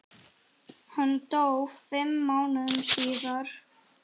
Hann dó fimm mánuðum síðar.